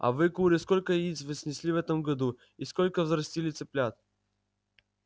а вы куры сколько яиц вы снесли в этом году и сколько взрастили цыплят